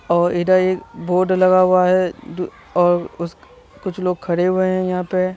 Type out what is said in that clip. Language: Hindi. और इधर एक बोर्ड लगा हुआ है अ दू और उस कुछ लोग खड़े हुए हैं यहाँ पे ।